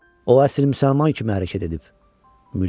O əsil müsəlman kimi hərəkət edib, Muley dedi.